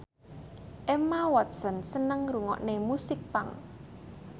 Emma Watson seneng ngrungokne musik punk